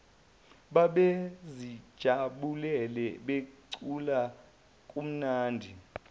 babezijabulele becula kumnandi